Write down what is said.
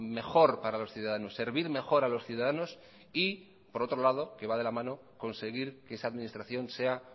mejor para los ciudadanos servir mejor a los ciudadanos y por otro lado que va de la mano conseguir que esa administración sea